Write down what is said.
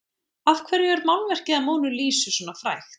af hverju er málverkið af mónu lísu svona frægt